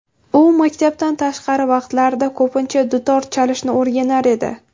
U maktabdan tashqari vaqtlarida ko‘pincha dutor chalishni o‘rganar edi.